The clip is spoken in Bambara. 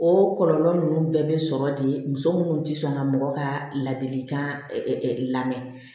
O kɔlɔlɔ ninnu bɛɛ bɛ sɔrɔ de muso minnu tɛ sɔn ka mɔgɔ ka ladilikan lamɛ